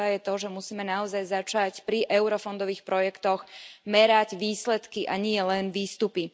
Tá prvá je, že musíme naozaj začať pri eurofondových projektoch, merať výsledky, a nielen výstupy.